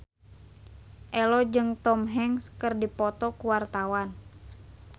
Ello jeung Tom Hanks keur dipoto ku wartawan